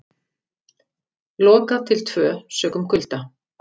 Lokað til tvö sökum kulda